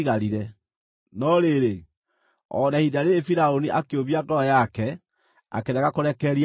No rĩrĩ, o na ihinda rĩĩrĩ Firaũni akĩũmia ngoro yake akĩrega kũrekereria andũ mathiĩ.